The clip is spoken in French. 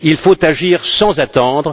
Il faut agir sans attendre.